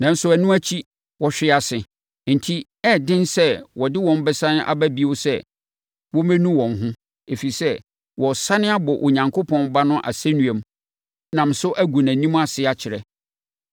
Nanso, ɛno akyi, wɔhwee ase. Enti, ɛyɛ den sɛ wɔde wɔn bɛsane aba bio sɛ wɔmmɛnu wɔn ho, ɛfiri sɛ, wɔresane abɔ Onyankopɔn Ba no asɛnnua mu nam so agu nʼanim ase akyerɛ.